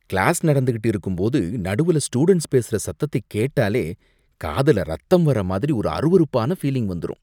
Class நடந்துகிட்டு இருக்கும்போது நடுவுல ஸ்டூடண்ட்ஸ் பேசுற சத்தத்தை கேட்டாலே காதுல ரத்தம் வரமாரி ஒரு அருவருப்பான ஃபீலிங் வந்துரும்.